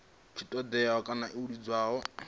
si ṱoḓee kana ḽo iledzwaho